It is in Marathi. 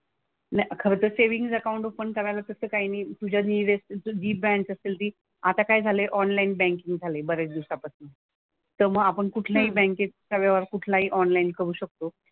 नाही खरंतर सेव्हिन्ग अकाउंट ओपन करायला तसं काही नाही तुझ्या जी तुझी बँक असेल ती आता काय झालंय ऑनलाईन बँकिंग झालंय बऱ्याच दिवसापासनं. तर मग आपण कुठल्याही बँकेचा व्यवहार कुठलाही ऑनलाईन करू शकतो.